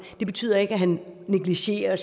det betyder ikke at han negligerer